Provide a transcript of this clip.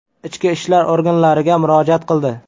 ichki ishlar organlariga murojaat qildi.